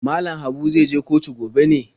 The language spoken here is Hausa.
Mallam Habu zai je kotu gobe ne?